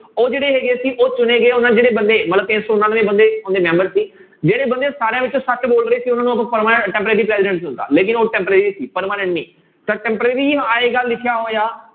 ਉਹ ਜਿਹੜੇ ਹੈਗੇ ਸੀ ਉਹ ਚੁਣੇ ਗਏ ਜਿਹੜੇ ਬੰਦੇ ਮਤਲਬ ਤਿੰਨ ਸੌ ਉਨਾਨਵੇਂ ਬੰਦੇ ਉਹਦੇ ਮੈਂਬਰ ਸੀ, ਜਿਹੜੇ ਬੰਦੇ ਸਾਰਿਆਂ ਵਿੱਚੋਂ ਬੋਲ ਰਹੇ ਸੀ ਉਹਨਾਂ ਨੂੰ ਆਪਾਂ ਪਰਮਾ~ temporary ਲੇਕਿੰਨ ਉਹ temporary ਸੀ permanent ਨੀ, ਤਾਂ temporary ਹੀ ਆਏਗਾ ਲਿਖਿਆ ਹੋਇਆ।